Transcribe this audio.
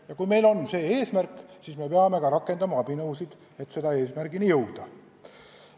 Ja kui meil siiski on see eesmärk, siis me peame rakendama abinõusid, et selle eesmärgini ikkagi jõuda.